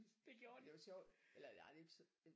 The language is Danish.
Det gjorde det!